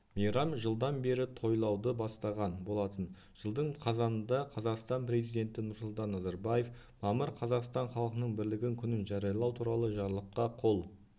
мейрам жылдан бері тойлауды бастаған болатын жылдың қазанында қазақстан президенті нұрсұлтан назарбаев мамыр қазақстан халқының бірлігі күнін жариялау туралы жарлыққа қол